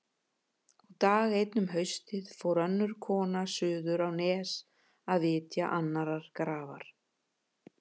Og dag einn um haustið fór önnur kona suður á Nes að vitja annarrar grafar.